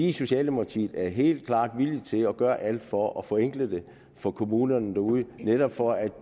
i socialdemokratiet helt klart villige til at gøre alt for at forenkle det for kommunerne derude netop for at